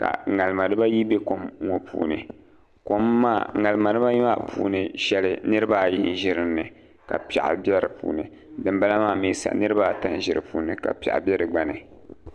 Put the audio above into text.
ka ŋarima dibayi bɛ kom ŋo puuni ŋarima dibaayi maa puuni shɛli niraba ayi n ʒi dinni ka piɛɣu bɛ di puuni dinbala maa mii sa niraba ata n bɛ dinni ka piɛɣu bɛ di gba ni